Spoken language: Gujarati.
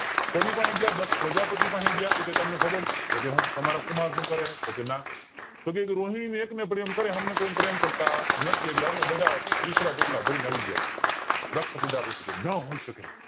કોની પાહે ગયા દક્ષ પ્રજાપતિ પહે ગયા એ તમને ખબર છે તમારા કુમાર સુ કરે છે તો કે ના રોહિણી એક ને પ્રેમકરે એમને પ્રેમ કરતા નથી એટલે અમે બધા બિસ્તરા પોટલાં ભરી ને આવી ગયા દક્ષ પ્રજાપતિ કે નો હોઉં શકે